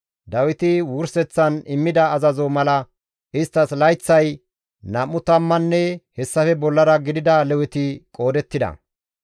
Dawiti wurseththan immida azazo mala isttas layththay nam7u tammanne hessafe bollara gidida Leweti qoodettida.